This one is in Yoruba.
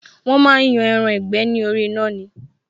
Wọn máa ń yan ẹran ìgbẹ́ ni orí iná ni